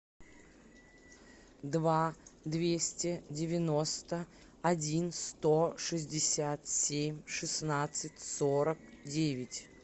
два двести девяносто один сто шестьдесят семь шестнадцать сорок девять